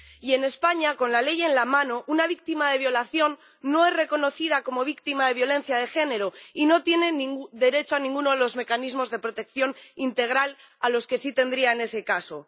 Y en España, con la ley en la mano, una víctima de violación no es reconocida como víctima de violencia de género y no tiene derecho a ninguno de los mecanismos de protección integral a los que sí tendría en ese caso.